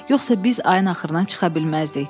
Yoxsa biz ayın axırına çıxa bilməzdik.